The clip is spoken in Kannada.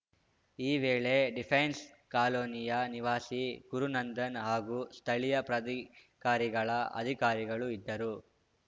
ಈ ವೇಳೆ ಡಿಫೆನ್ಸ್‌ ಕಾಲೋನಿಯ ನಿವಾಸಿ ಗುರುನಂದನ್‌ ಹಾಗೂ ಸ್ಥಳೀಯ ಪ್ರಾಧಿಕಾರಿಗಳ ಅಧಿಕಾರಿಗಳು ಇದ್ದರು